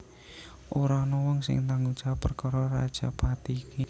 Ora ana wong sing tanggung jawab perkara rajapati iki